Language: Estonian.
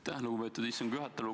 Aitäh, lugupeetud istungi juhataja!